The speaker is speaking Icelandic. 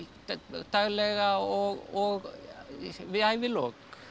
daglega og við ævilok